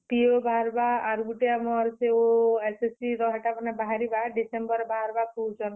PO ବାହାର୍ ବା। ଆର୍ ଗୁଟେ ଆମର୍ ସେ OSSC ର ହେଟା ମାନେ ବାହାରିବା ଡିସେମ୍ବରରେ ବାହାରିବା କହୁଛନ୍।